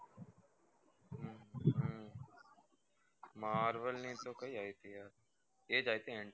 marvel ની ખબર નહિ એ જ આવી હતી antman